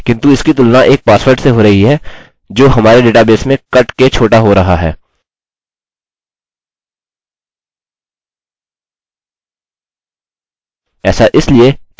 यहाँ समस्या यह है कि हमारा md5 पासवर्ड बिलकुल सही है किन्तु इसकी तुलना एक पासवर्ड से हो रही है जो हमारे डेटाबेस में कट के छोटा हो रहा है